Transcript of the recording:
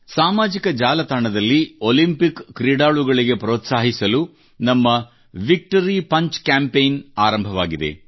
ಸಾಮಾಜಿಕ ಜಾಲತಾಣದಲ್ಲಿ ಒಲಿಂಪಿಕ್ ಕ್ರೀಡಾಳುಗಳಿಗೆ ಪ್ರೋತ್ಸಾಹಿಸಲು ನಮ್ಮ ವಿಕ್ಟರಿ ಪಂಚ್ ಕ್ಯಾಂಪೇನ್ ಆರಂಭವಾಗಿದೆ